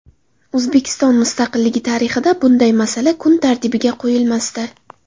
O‘zbekiston mustaqilligi tarixida bunday masala kun tartibiga qo‘yilmasdi.